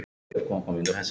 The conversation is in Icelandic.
Þetta er ekkert til að.